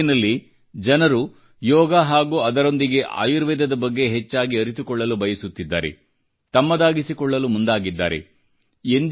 ಇಡೀ ಜಗತ್ತಿನಲ್ಲಿ ಜನರು ಯೋಗ ಹಾಗೂ ಅದರೊಂದಿಗೆ ಆಯುರ್ವೇದದ ಬಗ್ಗೆ ಹೆಚ್ಚಾಗಿ ಅರಿತುಕೊಳ್ಳಲು ಬಯಸುತ್ತಿದ್ದಾರೆ ತಮ್ಮದಾಗಿಸಿಕೊಳ್ಳಲು ಮುಂದಾಗಿದ್ದಾರೆ